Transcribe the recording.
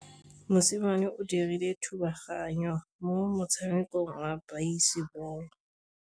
Mosimane o dirile thubaganyô mo motshamekong wa basebôlô.